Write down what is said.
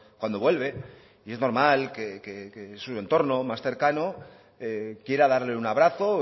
cuando vuelve y es normal que su entorno más cercano quiera darle un abrazo